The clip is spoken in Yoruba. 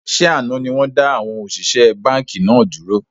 Ṣé àná ni wọn da àwọn òṣìṣẹ́ báńkì náà dúró?